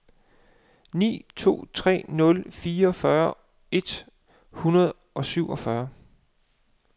ni to tre nul fireogfyrre et hundrede og syvogfyrre